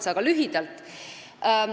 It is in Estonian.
Aga räägin lühidalt.